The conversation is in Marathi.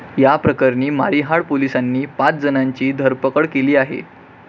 या प्रकरणी मारिहाळ पोलिसांनी पाच जणांची धरपकड केली आहे.